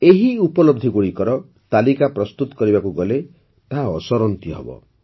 ଏହି ଉପଲବ୍ଧିଗୁଡ଼ିକର ତାଲିକା ପ୍ରସ୍ତୁତ କରିବାକୁ ଗଲେ ତାହା ଅସରନ୍ତି ହେବ